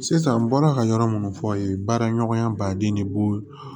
Sisan n bɔra ka yɔrɔ munnu fɔ ye baara ɲɔgɔnya baden de bo